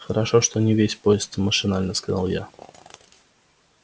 хорошо что не весь поезд машинально сказал я